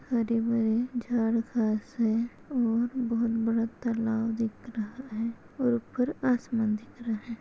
हरे भरे झाड घास है और बहुत बड़ा तलाव दिख रहा है और उपर आसमान दिख रहा है।